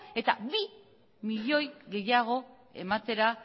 eta bi milioi gehiago ematera